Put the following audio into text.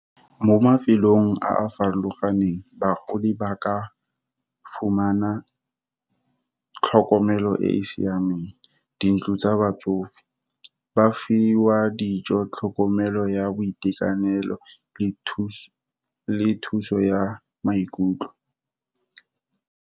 Mo mafelong a a farologaneng bagodi ba ka fumana tlhokomelo e e siameng. Dintlo tsa batsofe, ba fiwa dijo, tlhokomelo ya boitekanelo, le thuso ya maikutlo.